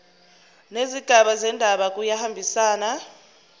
nezigaba zendaba kuyahambisana